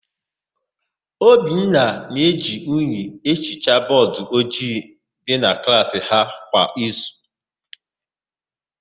Obinna na-eji unyi ehicha bọọdụ ojii dị na klaasị ha kwa izu.